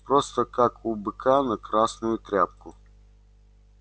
просто как у быка на красную тряпку